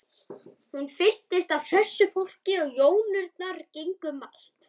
Húsið fylltist af hressu fólki og jónurnar gengu um allt.